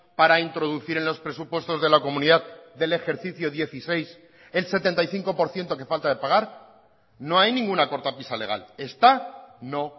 para introducir en los presupuestos de la comunidad del ejercicio dieciséis el setenta y cinco por ciento que falta de pagar no hay ninguna cortapisa legal está no